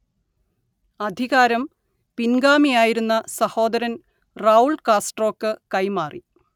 അധികാരം പിൻഗാമിയായിരുന്ന സഹോദരൻ റൗൾ കാസ്ട്രോക്ക് കൈമാറി